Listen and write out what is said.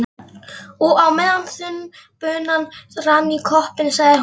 Og á meðan þunn bunan rann í koppinn, sagði hún